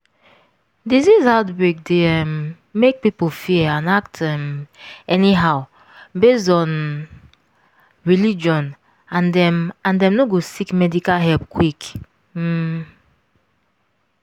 disease outbreak dey um make people fear and act um anyhow based on religion and dem and dem no go seek medical help quick. um